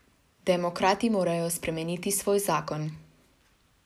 Demokrati morajo spremeniti svoj zakon.